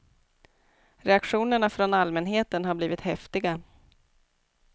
Reaktionerna från allmänheten har blivit häftiga.